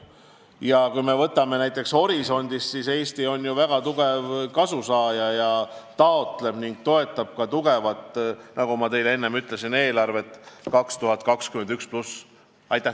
Ja kui me võtame näiteks Horisondi programmi, siis Eesti saab sellest väga palju kasu ning toetab ka eelarveperioodi 2021+ kava.